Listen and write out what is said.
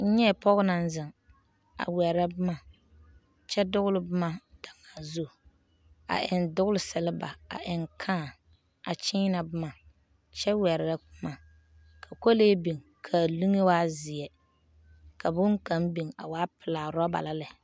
N nyɛɛ pɔge naŋ zeŋ a wɛrɛ boma kyɛ doole boma daŋaa zu. A eŋ doole seleba a eŋ kãã a kyeena boma, kyɛ wɛrɛ boma. Ka kolee bin k'a liŋe waa zeɛ. Ka boŋkaŋ bin a waa pelaa, rɔba la lɛ.